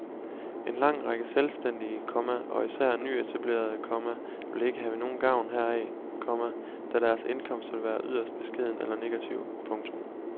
En lang række selvstændige, komma og især nyetablerede, komma vil ikke have nogen gavn heraf, komma da deres indkomst vil være yderst beskeden eller negativ. punktum